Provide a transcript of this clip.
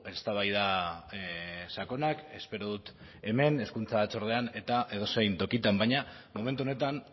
eztabaida sakonak espero dut hemen hezkuntza batzordean eta edozein tokitan baina momentu honetan